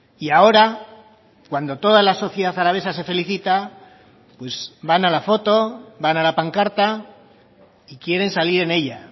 y ahora cuando toda la sociedad alavesa se felicita van a la foto van a la pancarta y quieren salir en ella